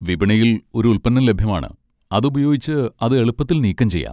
വിപണിയിൽ ഒരു ഉൽപ്പന്നം ലഭ്യമാണ്, അത് ഉപയോഗിച്ച് അത് എളുപ്പത്തിൽ നീക്കംചെയ്യാം.